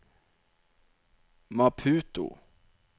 Maputo